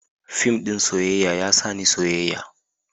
Fim ɗin soyayya ya sa ni soyayya.